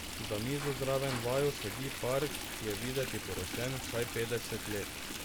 Za mizo zraven vaju sedi par, ki je videti poročen vsaj petdeset let.